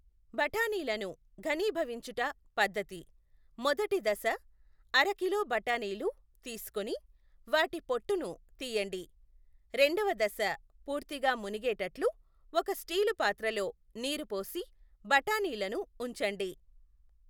బఠాణీలను ఘనీభవించుట పద్ధతి, మొదటి దశ అరకిలో బఠాణీలు తీసుకొని వాటి పొట్టుని తీయండి, రెండవ దశ పూర్తిగా మునిగేటట్లు ఒక స్టీలు పాత్రలో నీరు పోసి బఠాణీలను ఉంచండి.